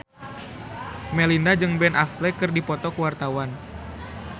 Melinda jeung Ben Affleck keur dipoto ku wartawan